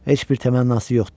Heç bir təmannası yoxdur.